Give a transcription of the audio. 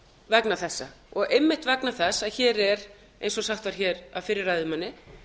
vegna þessa og einmitt vegna þess að hér er eins og sagt var hér af fyrri ræðumanni